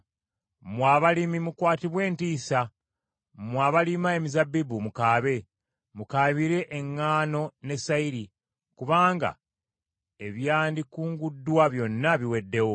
Mmwe abalimi mukwatibwe entiisa, mmwe abalima emizabbibu mukaabe. Mukaabire eŋŋaano ne sayiri, kubanga ebyandikunguddwa byonna biweddewo.